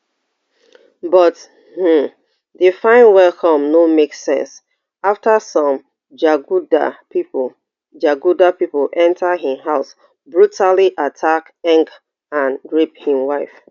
but um di fine welcome no make sense afta some jaguda pipo jaguda pipo enta im house brutally attack ngg and rape im wife